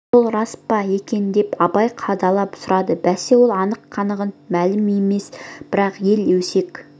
сол рас па екен деп абай қадала сұрады бәсе сол анық-қанығы мәлім емес бірақ ел өсек